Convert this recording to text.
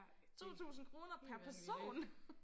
Ej det helt vanvittigt